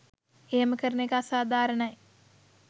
එහම කරන එක අසාධාරණයි